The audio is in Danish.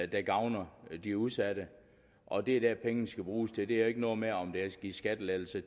der gavner de udsatte og det er det pengene skal bruges til det er jo ikke noget med om der er givet skattelettelser